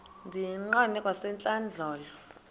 ndiyiqande kwasentlandlolo le